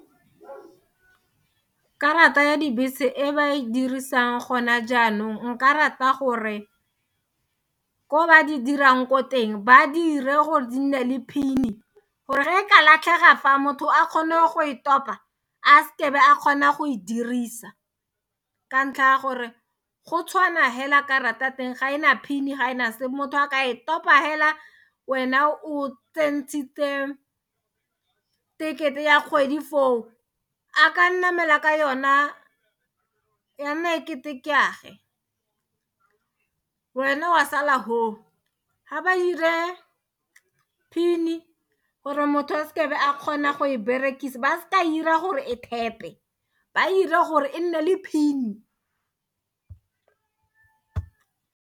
Karata ya dibese e ba e dirisang gona jaanong nka rata gore ko ba di dirang ko teng ba dire gore di nne le pin-e gore re ka latlhega fa motho a kgone go e topa a seke a be a kgona go e dirisa ka ntlha ya gore go tshwana hela karata teng ga ena pin ga ena se motho a ka e kopa hela wena o tsentshitse tekete ya kgwedi foo a ka namela ka yona ya nna e kete ke a ge wena wa sala hoo ga ba ire pin-e gore motho a seka a be a kgona go e berekise ba se ka ira gore e thepe ba ira gore e nne le pin-e.